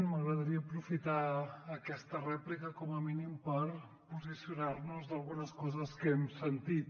m’agradaria aprofitar aquesta rèplica com a mínim per posicionar nos sobre algunes coses que hem sentit